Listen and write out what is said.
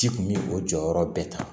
Ji kun bi o jɔyɔrɔ bɛɛ ta